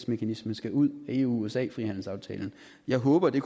mekanismen skal ud af eu usa frihandelsaftalen jeg håber at det